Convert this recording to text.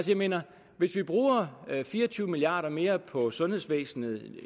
jeg mener hvis vi bruger fire og tyve milliard kroner mere på sundhedsvæsenet